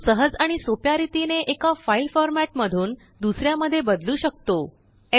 तो सहज आणि सोप्या रीतीने एकाफाइल फॉर्मेट मधूनदूसऱ्या मध्ये बदलू शकतो